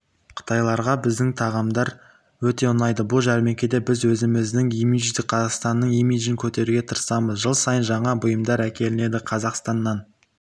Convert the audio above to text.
қытайларға біздің тағамдар өте ұнайды бұл жәрмеңкеде біз өзіміздің имидждік қазақстанның имидджін көтеруге тырысамыз жыл сайын жаңа бұйымдар әкелінеді қазақстаннан